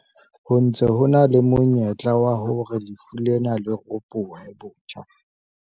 Ho ntse ho na le monyetla wa hore lefu lena le ropohe botjha.